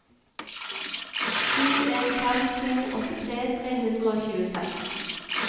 sju en fem to åttitre tre hundre og tjueseks